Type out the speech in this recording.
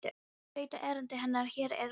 Veit að erindi hennar hér er lokið.